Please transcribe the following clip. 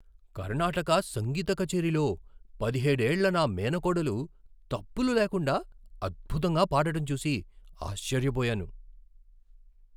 కర్ణాటక సంగీత కచేరీలో పదిహేడు ఏళ్ల నా మేనకోడలు తప్పులు లేకుండా అద్భుతంగా పాడటం చూసి ఆశ్చర్యపోయాను.